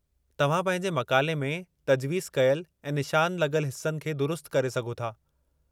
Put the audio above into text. तव्हां पंहिंजे मक़ाले में तज्वीज़ कयलु ऐं निशान लॻलु हिस्सनि खे दुरुस्त करे सघो था।